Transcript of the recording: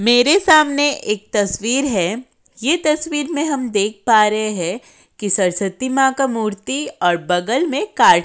मेरे सामने एक तस्वीर है। ये तस्वीर में हम देख पा रहे है कि सरस्वती मां का मूर्ति और बगल में का --